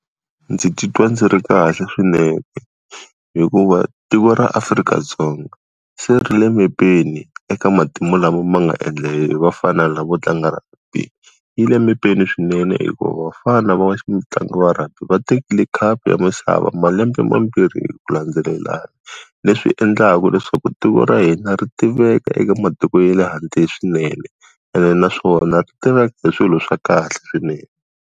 Ndzi titwa ndzi ri kahle swinene. Hikuva, tiko ra Afrika-Dzonga se ri le mepeni eka matimu lama ma nga endla hi hi vafana lavo tlanga rugby. Yi le mepeni swinene hikuva vafana lavawa ntlangu wa rugby va tekile khapu ya misava malembe mambirhi hi ku landzelelana leswi endlaku leswaku tiko ra hina ri tiveka eka matiko ya le handle swinene, ene naswona ri tivaka hi swilo swa kahle swinene.